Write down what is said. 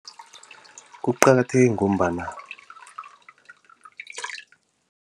Kuqakatheke ngombana